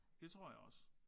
Det tror jeg også